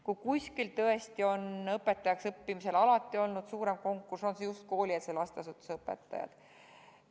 Kui kuskil tõesti on õpetajaks õppimisel alati olnud suurem konkurss, siis on see just koolieelse lasteasutuse õpetaja erialal.